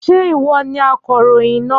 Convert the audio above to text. Ṣé ìwọ ni akọ̀ròyìn náà?